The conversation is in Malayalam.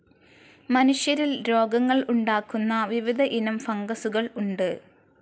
മനുഷ്യരിൽ രോഗങ്ങൾ ഉണ്ടാക്കുന്ന വിവിധ ഇനം ഫംഗസുകൾ ഉണ്ട്.